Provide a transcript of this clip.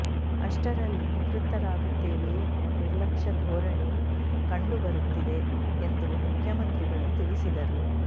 ಅಷ್ಟರಲ್ಲಿ ನಿವೃತ್ತರಾಗುತ್ತೇವೆ ಎಂಬ ನಿರ್ಲಕ್ಷ್ಯ ಧೋರಣೆ ಕಂಡುಬರುತ್ತಿದೆ ಎಂದು ಮುಖ್ಯಮಂತ್ರಿಗಳು ತಿಳಿಸಿದರು